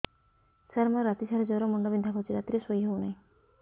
ସାର ମୋର ରାତି ସାରା ଜ୍ଵର ମୁଣ୍ଡ ବିନ୍ଧା କରୁଛି ରାତିରେ ଶୋଇ ହେଉ ନାହିଁ